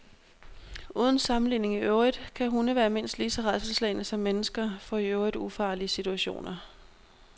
Uden sammenligning i øvrigt kan hunde være mindst lige så rædselsslagne som mennesker for i øvrigt ufarlige situationer.